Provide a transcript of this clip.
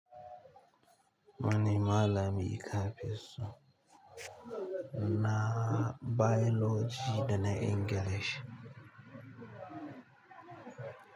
Wane malami kafi so? Na biology da na English.